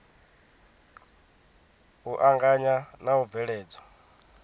u anganya na u bveledzwa